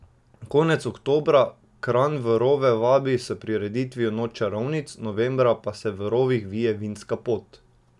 Konec oktobra Kranj v rove vabi s prireditvijo Noč čarovnic, novembra pa se v rovih vije vinska pot.